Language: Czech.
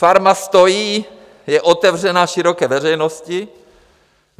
Farma stojí, je otevřena široké veřejnosti.